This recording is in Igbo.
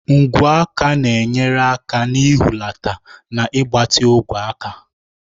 Ngwu aka na-enyere aka n'ihulata na ịgbatị ogwe aka.